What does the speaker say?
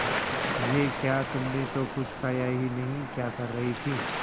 ये क्या तुमने तो कुछ खाया ही नहीं क्या कर रही थी